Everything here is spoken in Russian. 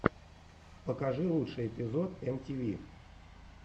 покажи лучший эпизод эм ти ви